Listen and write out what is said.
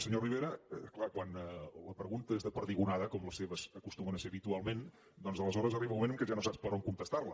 senyor rivera és clar quan la pregunta és de perdigonada com les seves acostumen a ser habitualment doncs aleshores arriba un moment que ja no saps per on contestar la